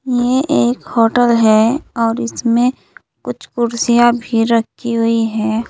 ये एक होटल है और इसमें कुछ कुर्सियां भी रखी हुई है।